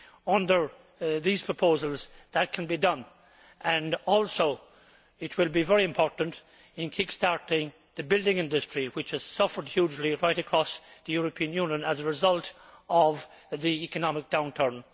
Under these proposals, that can be done, and also it will be very important in kick starting the building industry, which has suffered hugely right across the European Union as a result of the economic downturn.